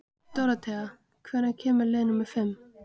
Dóróthea, hvenær kemur leið númer fimm?